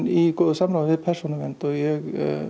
í góðu samráði við Persónuvernd og ég